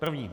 První.